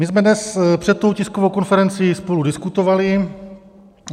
My jsme dnes před tou tiskovou konferencí spolu diskutovali.